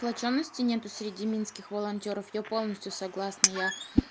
сплочённости нет среди минских волонтёров я полностью согласна я